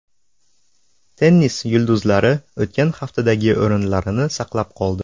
Tennis yulduzlari o‘tgan haftadagi o‘rinlarini saqlab qoldi.